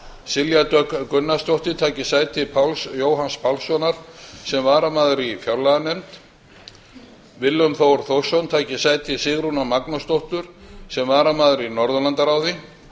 silja dögg gunnarsdóttir taki sæti páls jóhanns pálssonar sem varamaður í fjárlaganefnd willum þór þórsson taki sæti sigrúnar magnúsdóttur sem varamaður í norðurlandaráði